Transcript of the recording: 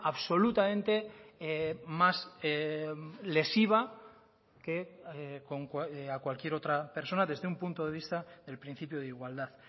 absolutamente más lesiva que a cualquier otra persona desde un punto de vista del principio de igualdad